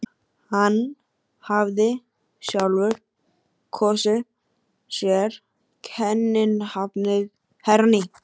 Mannþröngin varð því þéttari sem þeir komu nær.